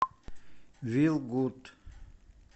вил гуд